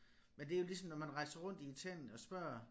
Men det jo ligesom når man rejser rundt i Italien og spørger